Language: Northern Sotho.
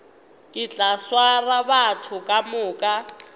ke tla swara batho kamoka